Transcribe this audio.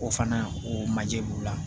O fana o manje b'u la